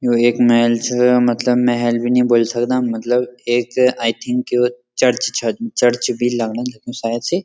यु एक महल छ मतलब महल भी नी बोल सकदा मतलब एक आई थिंक यो चर्च छा चर्च भी लगणु लग्युं सायद से।